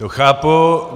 To chápu.